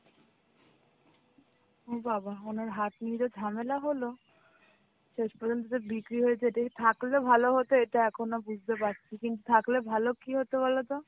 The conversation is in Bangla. ও বাবা ওনার হাট নিজে ঝামেলা হলো, শেষ পর্যন্ত যে বিক্রি হয়েছে এটাই থাকলে ভালো হতো এটা এখনো বুঝতে পারছি, কিন্তু থাকলে ভালো কি হতে বলতো,